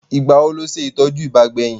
Ìgbà wo ló ṣe ìtọ́jú ibà?